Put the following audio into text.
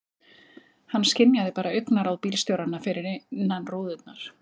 Hann skynjaði bara augnaráð bílstjóranna fyrir innan rúðurnar.